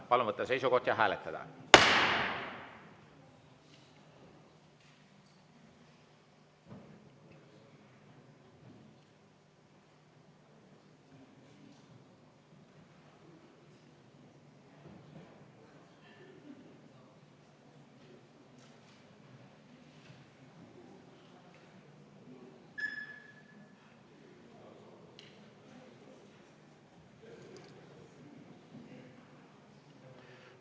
Palun võtta seisukoht ja hääletada!